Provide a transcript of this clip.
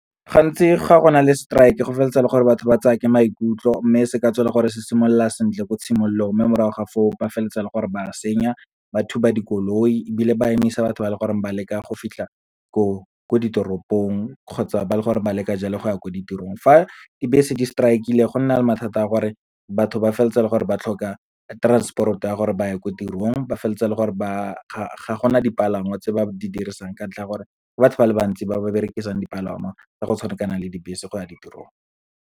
Gantsi ga gona le strike-e, go feleletsa e le gore batho ba tsaya ke maikutlo, mme se ka tswa e le gore se simolola sentle ko tshimologong mme morago ga fo o, ba felletsa e le gore ba senya, ba thuba dikoloi ebile ba emisa batho ba e leng gore ba leka go fitlha ko ditoropong, kgotsa ba le gore ba leka jalo go ya ko ditirong. Fa dibese di-strike-ile go nna le mathata a gore batho ba feleletsa e le gore ba tlhoka transport-o ya gore ba ye ko tirong. Ba feleletsa e le gore ga gona dipalangwa tse ba di dirisang, ka ntlha ya gore ke batho ba le bantsi ba ba berekisang dipalangwa tsa go tshwana kana le dibese go ya ditirong.